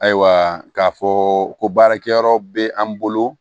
Ayiwa k'a fɔ ko baarakɛyɔrɔ bɛ an bolo